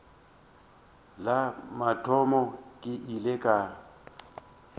la mathomo ke ile ka